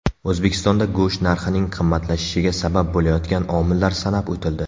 O‘zbekistonda go‘sht narxining qimmatlashishiga sabab bo‘layotgan omillar sanab o‘tildi.